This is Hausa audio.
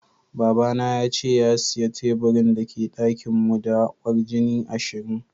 Baba na yace ya siya taburin da ke dakin mu da kwarjini ashirin.